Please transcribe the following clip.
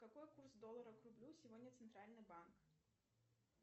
какой курс доллара к рублю сегодня центральный банк